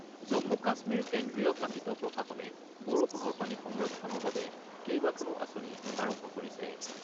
জম্মু-কাশ্মীৰ কেন্দ্ৰীয় শাসিত প্ৰশাসনে বৰষুণৰ পানী সংৰক্ষণৰ বাবে কেইবাখনো আঁচনি আৰম্ভ কৰিছে।